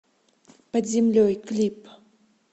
под землей клип